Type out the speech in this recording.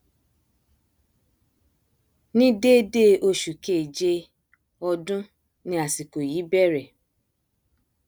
ni dédé oṣù kéèjé ọdún ni àsìkò yìí bẹrẹ